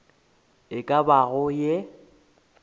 e ka bago ye e